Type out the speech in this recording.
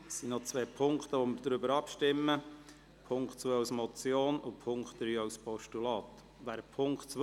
Wir stimmen über den Punkt 2 als Motion und über den Punkt 3 als Postulat ab.